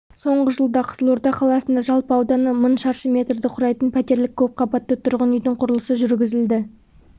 соңғы жылда қызылорда қаласында жалпы ауданы мың шаршы метрді құрайтын пәтерлік көпқабатты тұрғын үйдің құрылысы жүргізілді